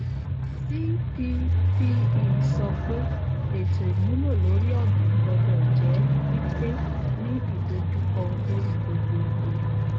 cppe sọ pé ètò ìmúlò lórí ọgbìn gbọdọ jẹ pípé ní idojukọ lórí gbogbo iye